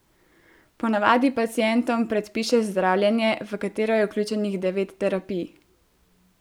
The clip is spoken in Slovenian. Po navadi pacientom predpiše zdravljenje, v katero je vključenih devet terapij.